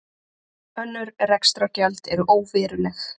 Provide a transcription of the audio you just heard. Önnur rekstrargjöld eru óveruleg